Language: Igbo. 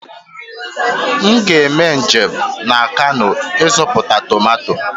M ga-eme njem na kano ịzụta tomato